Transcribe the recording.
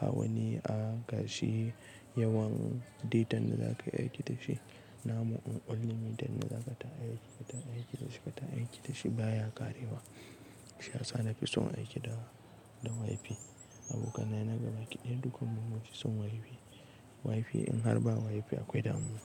ba wani a gashi yawan data da za ka yi aiki da shi. Na ma unlimit data da za ka ta aiki, ka ta aiki da shi, ka ta aiki da shi baya ƙarewa. Sha sa ni na fi son aiki da, da WiFi. Abokanai na gaba kiɗe, dukkan mu masu son WiFi. WiFi in har ba WiFi akwai damuwa.